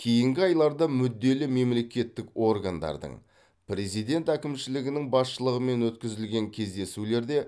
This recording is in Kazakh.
кейінгі айларда мүдделі мемлекеттік органдардың президент әкімшілігінің басшылығымен өткізілген кездесулерде